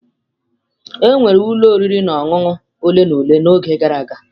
Enwere ụlọ oriri na ọṅụṅụ ole na ole n'oge gara aga.